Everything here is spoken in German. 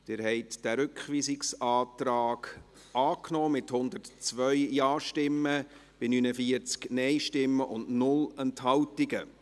Sie haben diesen Rückweisungsantrag angenommen, mit 102 Ja- bei 49 Nein-Stimmen und 0 Enthaltungen.